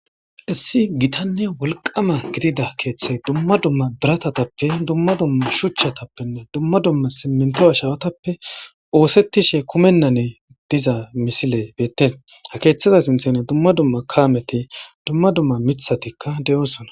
Issi gitanne wolqama gidida keeththey dumma dumma biratatappe dumma dumma shuchchatappenne dumma dumma simminto ashawatappe oosettishe kumennane diza misile beettes ha keeththaza sinthanne dumma dumma kaameti dumma dumma mithatikka de'oosona.